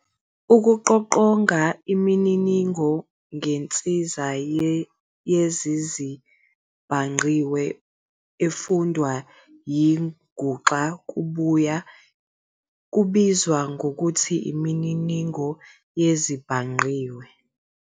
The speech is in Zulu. Ukuqoqonga imininingo ngensiza yezezibhangqiwe, efundwa yinguxa kubuye kubizwe ngokuthi "imininingo yezezibhangqiwe".